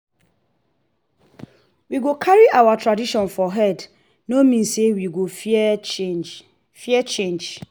we go carry our tradition for head no mean say we go fear change. fear change.